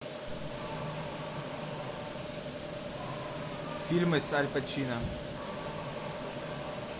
фильмы с аль пачино